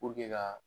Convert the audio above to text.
ka